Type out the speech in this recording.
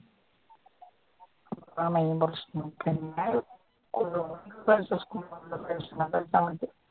അതാണ് മെയിൻ പ്രശ്നം